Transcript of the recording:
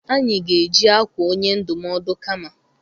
Anyị ga-eji akwa onye ndụmọdụ kama.